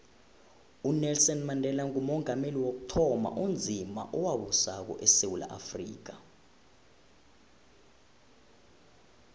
unelson mandela ngumongameli wokuthoma onzima owabusako esewula afrika